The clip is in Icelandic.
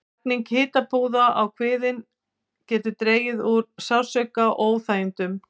Lagning hitapúða á kviðinn getur dregið úr sársauka og óþægindum.